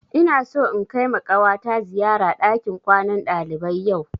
Ina so in kaima ƙawata ziyara ɗakin kwanan ɗalibai yau